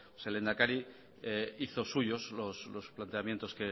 el lehendakari hizo suyos los planteamientos